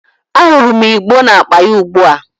Ahurum igbo na-akpa ya ugbua